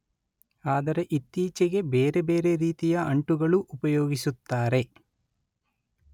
ಆದರೆ ಇತ್ತೀಚೆಗೆ ಬೇರೆ ಬೇರೆ ರೀತಿಯ ಅಂಟುಗಳು ಉಪಯೋಗಿಸುತ್ತಾರೆ